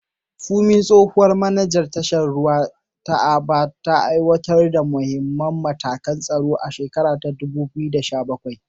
Funmi, tsohuwar manajan tashar jiragen ruwa ta Aba, ta aiwatar da muhimman matakan tsaro a shekarar 2017.